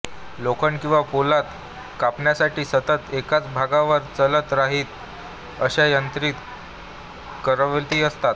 लोखंड किंवा पोलाद कापण्यासाठी सतत एकाच भागावर चालत राहील अशा यांत्रिक करवती असतात